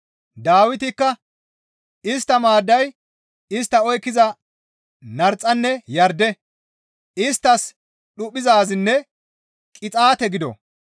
Dawitikka, «Istta maadday istta oykkiza narxanne yarde; isttas dhuphizaazinne qixaate gido.